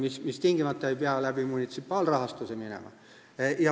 See ei pea tingimata käima munitsipaalrahastuse kaudu.